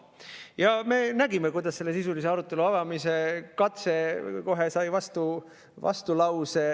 Ja me nägime, kuidas sisulise arutelu avamise katse sai kohe vastulause.